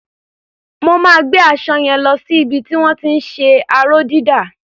Mo máa gbé aṣọ yẹn lo sí ibi tí wọ́n ti ń ṣe aró-dídà.